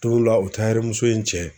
Tola o tayɛrimuso in cɛ